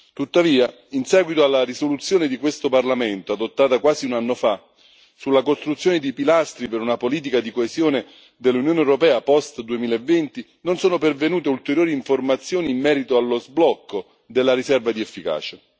Tuttavia, in seguito alla risoluzione di questo Parlamento, adottata quasi un anno fa, sulla costruzione di pilastri per una politica di coesione dell'Unione europea post 2020, non sono pervenute ulteriori informazioni in merito allo sblocco della riserva di efficacia.